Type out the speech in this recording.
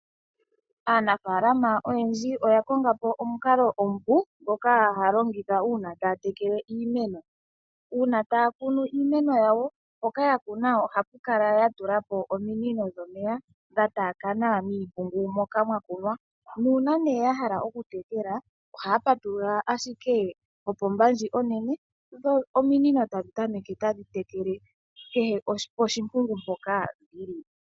Aanafalama oyendji oya konga po omukalo omupu ngoka haalongitha uuna taya tekele iimeno. Uuna taakuno iimeno, mpoka haakala yakuna iimeno yawo ohaakala yatulapo ominino dhataakana miimpungu moka mwakunwa, nangele yahala okutekela ohaapatulula ashike opomba ndji onene, dho ominino tadhi tameke tadhitekele kehe poshi mpungu.